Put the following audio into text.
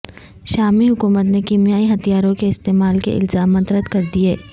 شامی حکومت نے کیمیائی ہتھیاروں کے استعمال کے الزامات رد کردیئے